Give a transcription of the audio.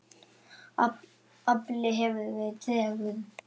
Afli hefur verið tregur.